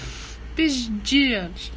пиздец